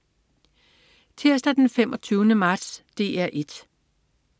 Tirsdag den 25. marts - DR 1: